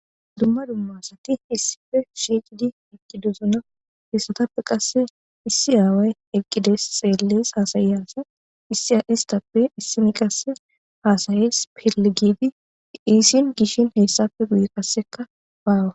Duma duma asati issippe shiqidi eqidosona heysatappe qase issi away eqidi xeles